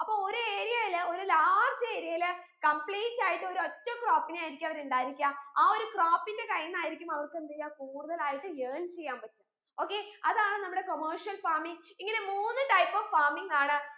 അപ്പൊ ഒരു area ൽ ഒരു large area ൽ complete ആയിട്ട് ഒരു ഒറ്റ crop നെ ആയിരിക്കു അവിടെ ഉണ്ടായിരിക്ക ആ ഒരു crop ന്റെ time ആയിരിക്കും അവർക്ക് എന്തെയ്യ കൂടുതലായിട്ടും earn ചെയ്യാൻ പറ്റ okay അതാണ് നമ്മുടെ commercial farming ഇങ്ങനെ മൂന്ന് type of farming ആണ്